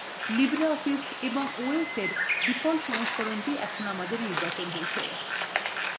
লক্ষ্য করুন LibreOffice এবং os এর ডিফল্ট সংস্করণটি এখন আমাদের নির্বাচন করেছি